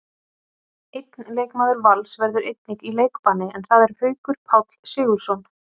Einn leikmaður Vals verður einnig í leikbanni, en það er Haukur Páll Sigurðsson.